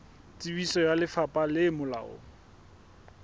tsebiso ya lefapha le molaong